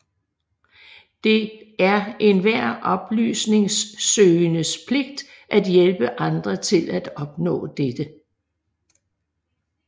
Det er enhver oplysningssøgendes pligt at hjælpe andre til at opnå dette